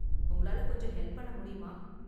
உங்களால கொஞ்சம் ஹெல்ப் பண்ண முடியுமா?